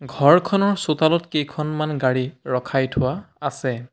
ঘৰখনৰ চোতালত কেইখনমান গাড়ী ৰখাই থোৱা আছে।